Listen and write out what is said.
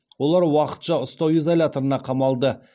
олар уақытша ұстау изоляторына қамалды